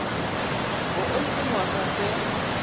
bo o le dingwaga tse